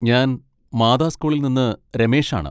ഞാൻ മാതാ സ്കൂളിൽ നിന്ന് രമേഷാണ്.